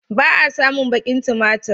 Ba a samun baƙin tumatir.